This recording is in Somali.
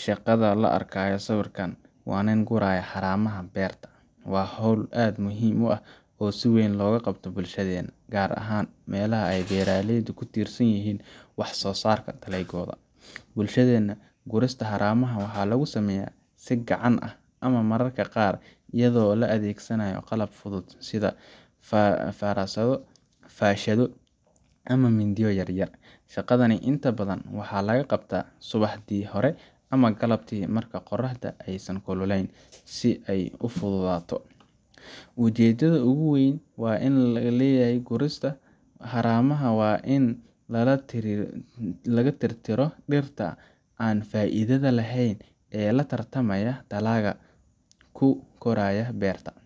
Shaqada la arkayo sawirka ninka ka guraya haramaha beerta waa hawl aad u muhiim ah oo si weyn looga qabto bulshadeenna, gaar ahaan meelaha ay beeraleydu ku tiirsan yihiin wax soosaarka dalagyadooda. Bulshadeenna, gurista haramaha waxaa lagu sameeyaa si gacanta ah ama mararka qaar iyadoo la adeegsanayo qalab fudud sida farasado, faashado ama mindiyo yar yar. Shaqadani inta badan waxaa la qabtaa subaxdii hore ama galabtii marka qorraxda aysan kululayn, si ay u fududaato. Ujeeddada ugu weyn ee laga leeyahay gurista haramaha waa in laga tirtiro dhirta aan faa’iidada lahayn ee la tartameysa dalagga ku koraya beerta.